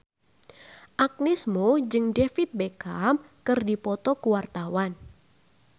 Agnes Mo jeung David Beckham keur dipoto ku wartawan